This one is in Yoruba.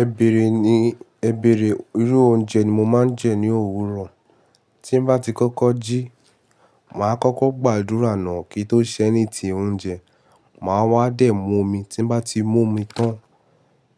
Ẹ̀bẹ̀rẹ̀ ni, ẹ̀bẹ̀rẹ̀ irú oúnjẹ ni mo máa ń jẹ ní òwúrọ̀. Tí ń bá ti kọ́kọ́ jí, màá kọ́kọ́ gbàdúrà náà kí ó tó ṣẹ́ anything oúnjẹ. Màá wá dẹ̀ mú omi, tí bá ti mú omi tán,